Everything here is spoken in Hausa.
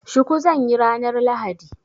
Shuku zan yi ranar lahadi.